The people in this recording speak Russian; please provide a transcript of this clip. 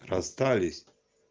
расстались